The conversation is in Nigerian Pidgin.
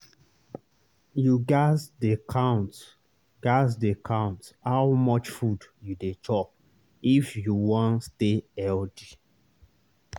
you gats dey count gats dey count how much food you dey chop if you wan stay healthy.